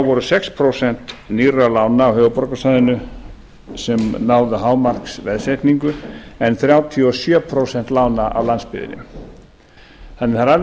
voru sex prósent nýrra lána á höfuðborgarsvæðinu sem náðu hámarksveðsetningu en þrjátíu og sjö prósent lána á landsbyggðinni þannig að það er alveg